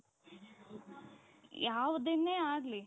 ಯಾವುದನ್ನೇ ಆಗಲಿ